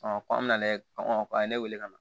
ko an bɛna lajɛ kɔnkɔn a ye ne wele ka na